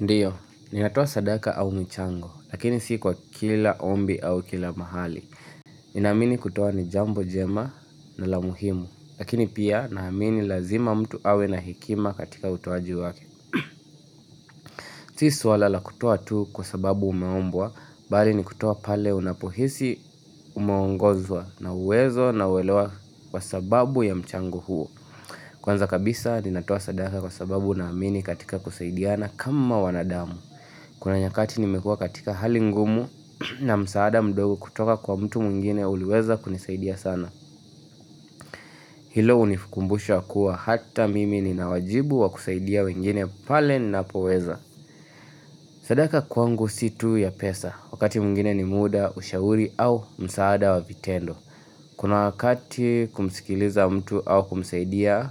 Ndio, ninatoa sadaka au michango, lakini si kwa kila ombi au kila mahali. Ninaamini kutoa ni jambo jema na la muhimu, lakini pia naamini lazima mtu awe na hekima katika utoaji wake. Si suala la kutoa tu kwa sababu umeombwa, bali ni kutoa pale unapohisi umeongozwa na uwezo na uelewa kwa sababu ya mchango huo. Kwanza kabisa, ninatoa sadaka kwa sababu naamini katika kusaidiana kama wanadamu. Kuna nyakati nimekuwa katika hali ngumu na msaada mdogo kutoka kwa mtu mwingine uliweza kunisaidia sana Hilo hunikumbusha kuwa hata mimi nina wajibu wa kusaidia wengine pale ninapoweza sadaka kwangu sio tu ya pesa Wakati mwingine ni muda ushauri au msaada wa vitendo Kuna wakati kumsikiliza mtu au kumsaidia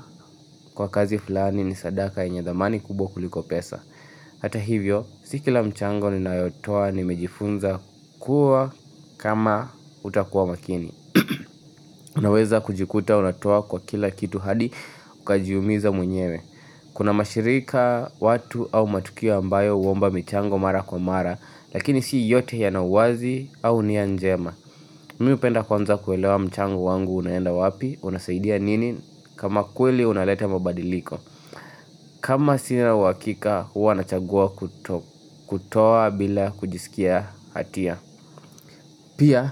kwa kazi fulani ni sadaka yenye dhamani kubwa kuliko pesa Hata hivyo, si kila mchango ninayotoa, nimejifunza kuwa kama utakuwa makini. Unaweza kujikuta unatoa kwa kila kitu hadi ukajiumiza mwenyewe. Kuna mashirika watu au matukio ambayo huomba michango mara kwa mara, lakini si yote yana uwazi au nia njema. Mimi hupenda kwanza kuelewa mchango wangu unaenda wapi, unasaidia nini, kama kweli unaleta mabadiliko. Kama sina uhakika huwa nachagua kuto kutoa bila kujisikia hatia Pia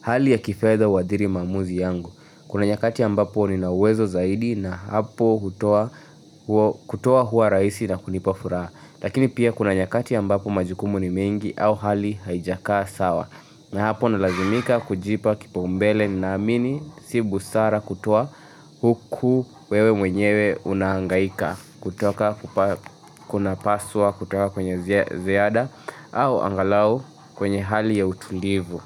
hali ya kifedha huadhiri maamuzi yangu Kuna nyakati ambapo nina uwezo zaidi na hapo hutoa huo kutoa huwa rahisi na kunipa furaha Lakini pia kuna nyakati ambapo majukumu ni mengi au hali haijakaa sawa na hapo nalazimika kujipa kipaumbele naamini si busara kutoa huku wewe mwenyewe unahangaika kutoka kunapaswa kutoa kwenye ziada au angalau kwenye hali ya utulivu.